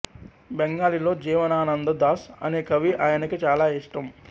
బెంగాలీలో జీవనానంద దాస్ అనే కవి ఆయనకి చాలా ఇష్టం